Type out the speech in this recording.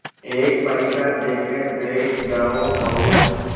एक पैसा देकर बैठ जाओ और